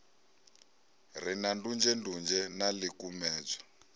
re na ndunzhendunzhe na ḽikumedzwa